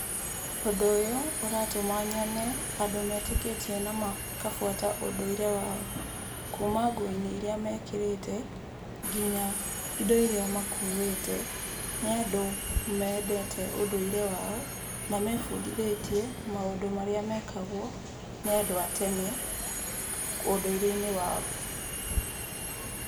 Ũndũ ũyũ ũratũma nyone andũ metĩkĩtie na makabuata ũndũire wao, kuma nguo-inĩ iria mekĩrĩte nginya indo iria makuĩte. Nĩ andũ mendete ũndũire wao na mebundithĩtiĩ maũndũ marĩa mekagwo nĩ andũ a tene ũndũire-inĩ wao.